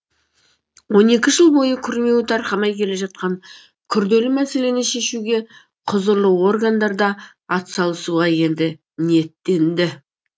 он екі жыл бойы күрмеуі тарқамай келе жатқан күрделі мәселені шешуге құзырлы органдарда атсалысуға енді ниеттенді